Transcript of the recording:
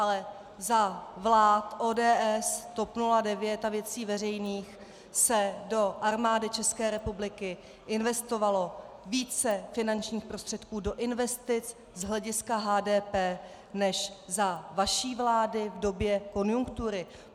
Ale za vlád ODS, TOP 09 a Věcí veřejných se do Armády České republiky investovalo více finančních prostředků do investic z hlediska HDP než za vaší vlády v době konjunktury.